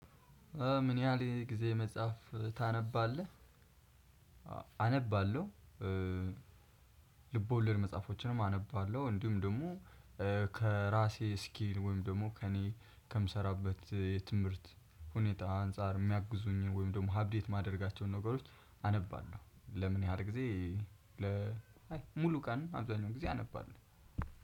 ምን ያህል የኔ ጊዜ መጽሐፍ ታነባለህ? አነባለሁ። ልቦለድ መጽሐፎችንም አነባለሁ እንዲሁም ደግሞ ከራሴ ስኪል ወይም ደግሞ ከእኔ ከምሰራበት የትምህርት ሁኔታ አንፃር የሚያግዙኝን ወይም ደግሞ አፕዴት የማደርጋቸውን ነገሮች አነባለሁ። ለምን ያህል ጊዜ? ለ አይ ሙሉ ቀን አብዛኛው ጊዜ አነባለሁ።